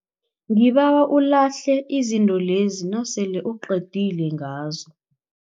Ngibawa ulahle izinto lezi nasele uqedile ngazo.